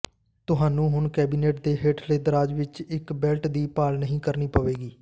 ਤੁਹਾਨੂੰ ਹੁਣ ਕੈਬਨਿਟ ਦੇ ਹੇਠਲੇ ਦਰਾਜ਼ ਵਿੱਚ ਇੱਕ ਬੈਲਟ ਦੀ ਭਾਲ ਨਹੀਂ ਕਰਨੀ ਪਵੇਗੀ